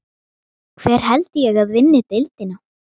Hver held ég að vinni deildina?